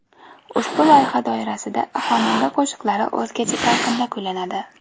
Ushbu loyiha doirasida xonanda qo‘shiqlari o‘zgacha talqinda kuylanadi.